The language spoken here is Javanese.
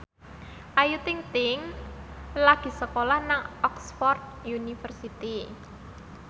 Ayu Ting ting lagi sekolah nang Oxford university